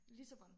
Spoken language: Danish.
Lissabon